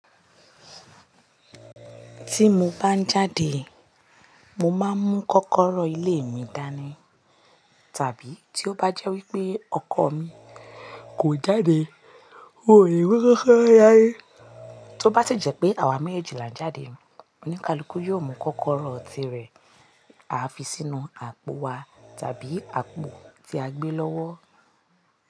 Tí mo bá ń jáde, mo máa ń mú kọ́kọ́rọ́ ilé mi dání tàbí tí ó bá jẹ́ wípé ọkọ̀ mi kò jáde, òòrè mi tó bá ti jẹ́ pé àwa méjì là ń jáde, oníkálukú yóò mú kọ́kọ́rọ́ tí rẹ̀, a fi sínú àpò wa tàbí àpò tí a gbé lọ́wọ́.